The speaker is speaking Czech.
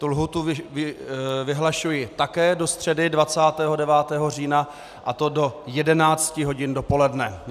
Tu lhůtu vyhlašuji také do středy 29. října, a to do 11 hodin dopoledne.